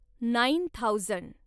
nine thousand